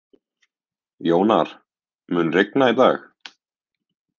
Jónar, mun rigna í dag?